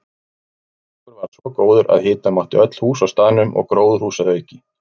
Árangur varð svo góður að hita mátti öll hús á staðnum og gróðurhús að auki.